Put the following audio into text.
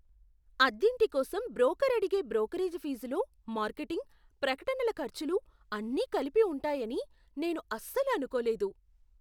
అద్దింటి కోసం బ్రోకర్ అడిగే బ్రోకరేజ్ ఫీజులో మార్కెటింగ్, ప్రకటనల ఖర్చులు అన్నీ కలిపి ఉంటాయని నేను అస్సలు అనుకోలేదు.